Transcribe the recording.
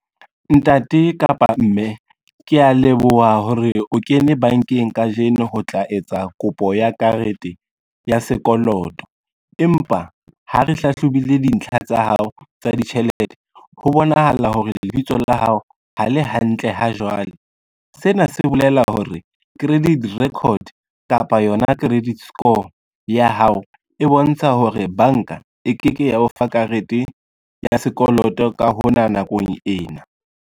Ntate kapa mme, kea leboha hore o kene bankeng kajeno ho tla etsa kopo ya karete ya sekoloto. Empa ha re hlahlobile dintlha tsa hao tsa ditjhelete, ho bonahala hore lebitso la hao ha le hantle ha jwale. Sena se bolela hore credit record kapa yona credit score ya hao e bontsha hore banka e ke ke ya o fa karete ya sekoloto ka hona nakong ena.